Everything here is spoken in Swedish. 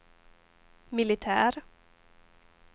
militär